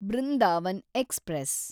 Brindavan express